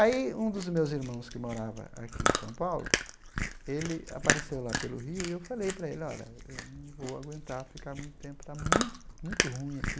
Aí, um dos meus irmãos que morava aqui em São Paulo, ele apareceu lá pelo Rio e eu falei para ele, olha, eu não vou aguentar ficar muito tempo, tá muito muito ruim aqui.